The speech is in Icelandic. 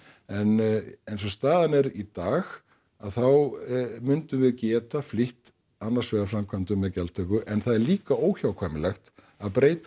en eins og staðan er í dag þá mundum við geta flýtt annars vegar framkvæmdum með gjaldtöku en það er líka óhjákvæmilegt að breyta